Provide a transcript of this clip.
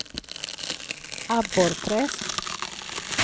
Abborrträsk